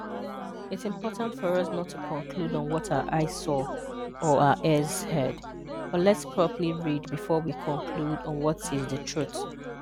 It's important for us not to conclude on what our eyes saw or our ears heard, but let's properly read before we conclude on what is the truth.